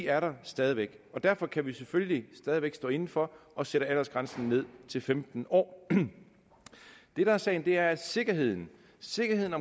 er der stadig væk og derfor kan vi selvfølgelig stadig væk stå inde for at sætte aldersgrænsen ned til femten år det der er sagen er at sikkerheden sikkerheden